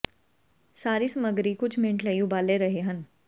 ਸਾਰੇ ਸਮੱਗਰੀ ਕੁਝ ਮਿੰਟ ਦੇ ਲਈ ਉਬਾਲੇ ਰਹੇ ਹਨ